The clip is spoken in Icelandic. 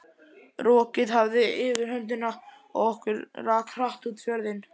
Rokið hafði yfirhöndina og okkur rak hratt út fjörðinn.